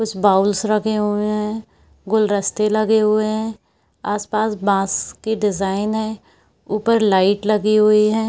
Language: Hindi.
कुछ बाउल्स रखे हुए हैगुलदस्ते लगे हुए है आस-पास बांस के डिजाईन है उपर लाइट लगी हुई है।